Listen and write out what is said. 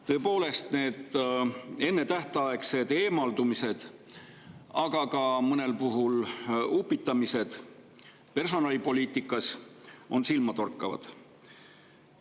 Tõepoolest, need ennetähtaegsed eemaldumised, aga mõnel puhul ka upitamised personalipoliitikas on silmatorkavad.